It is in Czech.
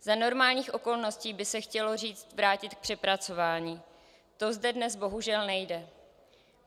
Za normálních okolností by se chtělo říct vrátit k přepracování, to zde dnes bohužel nejde.